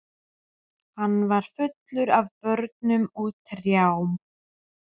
Hann var fullur af börnum og trjám.